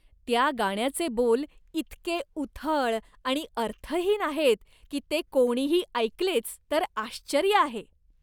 त्या गाण्याचे बोल इतके उथळ आणि अर्थहीन आहेत की ते कोणीही ऐकलेच तर आश्चर्य आहे.